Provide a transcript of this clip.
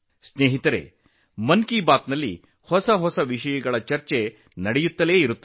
ಸ್ನೇಹಿತರೇ ಮನ್ ಕಿ ಬಾತ್ ನಲ್ಲಿ ವಿವಿಧ ಹೊಸ ವಿಷಯಗಳು ಚರ್ಚೆಯಾಗುತ್ತಿವೆ